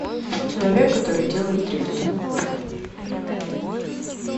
человек который делает дрифт